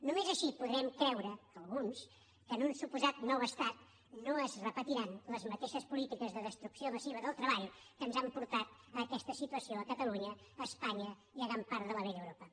només així podrem creure alguns que en un suposat nou estat no es repetiran les mateixes polítiques de destrucció massiva del treball que ens han portat a aquesta situació a catalunya a espanya i a gran part de la vella europa